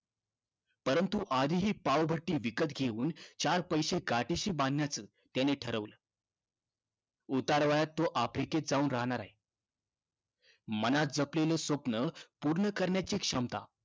परंतु, आधी ही पावभट्टी विकत घेऊन चार पैसे गाठीशी बांधण्याचं त्यानं ठरवलं. उतारवयात तो आफ्रिकेत जाऊन रहाणार आहे. मनात जपलेलं स्वप्न पूर्ण करण्याचं स्वप्न पूर्ण करण्याची क्षमता